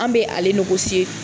An bɛ ale